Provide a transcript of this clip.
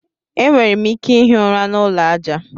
E nwere m ike ihi ụra n'ụlọ aja.